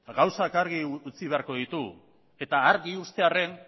gauzak argi utzi beharko ditugu eta argi uztearren